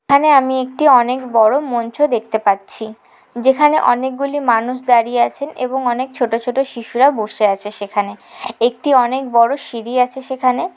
এখানে আমি একটি অনেক বড়ো মঞ্চ দেখতে পাচ্ছি | যেখানে অনেক গুলি মানুষ দাঁড়িয়ে আছে অনেক ছোট ছোট শিশুরা বসে আছে সেখানে | একটি অনেক বড়ো সিঁড়ি আছে সেখানে।